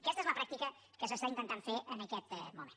aquesta és la pràctica que s’està intentant fer en aquest moment